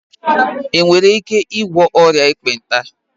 Enwere ike ịgwọ ọrịa Ekpenta